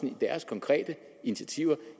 i deres konkrete initiativer